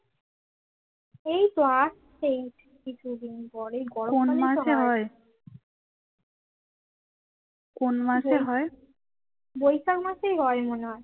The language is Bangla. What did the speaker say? বৈশাখ মাসেই হয় মনে হয়